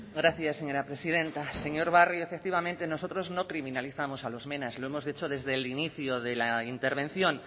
gracias señora presidenta señor barrio efectivamente nosotros no criminalizamos a los mena lo hemos dicho desde el inicio de la intervención